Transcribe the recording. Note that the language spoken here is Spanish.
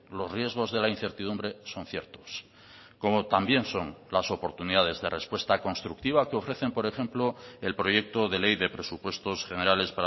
los riesgos de la incertidumbre son ciertos como también son las oportunidades de respuesta constructiva que ofrecen por ejemplo el proyecto de ley de presupuestos generales